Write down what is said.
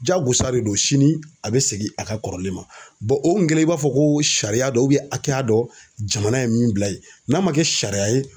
Jagosa de don sini a be segin a ka kɔrɔlen ma o kun kɛlen i b'a fɔ ko sariya dɔ hakɛya dɔ jamana ye min bila yen n'a man kɛ sariya ye